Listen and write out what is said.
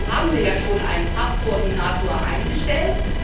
Nun haben wir ja schon einen FAB Koordinator eingestellt.